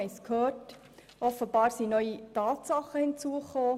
Wir haben es gehört, offenbar sind neue Tatsachen hinzugekommen.